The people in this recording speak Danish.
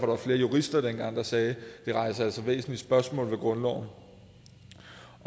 var flere jurister der sagde det rejser altså væsentlige spørgsmål i grundloven